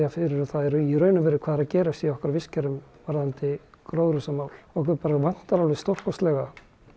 fyrir um hvað er að gerast í okkar vistkerfum varðandi gróðurhúsamál okkur bara vantar alveg stórkostlega